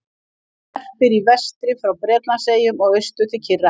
Hann verpir í vestri frá Bretlandseyjum og austur til Kyrrahafs.